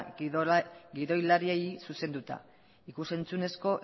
gidoilariei zuzenduta ikusentzunezko